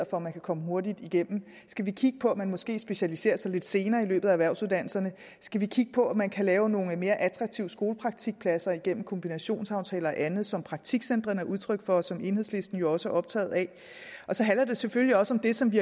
at man kan komme hurtigt igennem skal vi kigge på at man måske specialiserer sig lidt senere i løbet af erhvervsuddannelserne skal vi kigge på om man kan lave nogle mere attraktive skolepraktikpladser igennem kombinationsaftaler og andet som praktikcentrene er udtryk for og som enhedslisten jo også er optaget af så handler det selvfølgelig også om det som vi